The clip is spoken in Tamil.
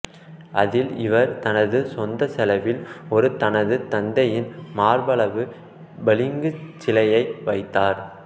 அதில் இவர் தனது சொந்த செலவில் ஒரு தனது தந்தையின் மார்பளவு பளிங்கு சிலையை வைத்தார்